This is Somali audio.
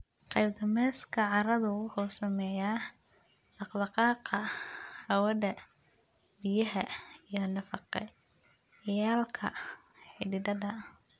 Qaab dhismeedka carradu wuxuu saameeyaa dhaqdhaqaaqa hawada, biyaha, iyo nafaqeeyayaalka xididdada.